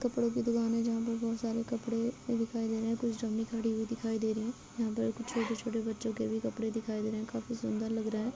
कपड़ों की दुकान है जहाँ पर बहोत सारे कपड़े दिखाई दे रहे है कुछ डमी खड़ी हुई दिखाई दे रही है यहां पर कुछ छोटे-छोटे बच्चों के भी कपड़े दिखाई दे रहे है काफी सुंदर लग रहे हैं।